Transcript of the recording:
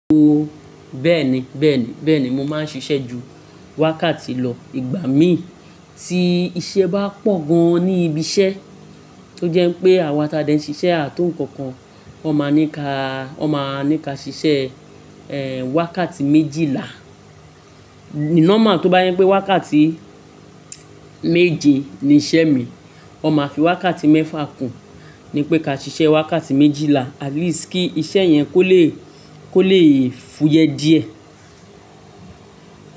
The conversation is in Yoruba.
Ooo bẹ́ẹ̀ni bẹ́ẹ̀ni bẹ́ẹ̀ni mo máa ń ṣiṣẹ́ ju wákàtí lọ. Ìgbà mìí ti iṣẹ́ bá pọ̀ gan ní ibi iṣẹ́, tó jẹ́ pé àwa ti a dẹ ń ṣiṣẹ́ à to nǹkankan, wọ́n máa ní ká wọ́n máa ní ká ṣiṣẹ́, ẹ́, wákàtí méjìlá. Normal a tó bá yẹ́n pé wákàtí méje ni iṣẹ́ mi, wọ́n máa fi wákàtí mẹ́fà kùn, ní pé ká ṣiṣẹ́ wákàtí méjìlá at least kí iṣẹ́ yẹn kó le kó le fúyẹ díẹ̀.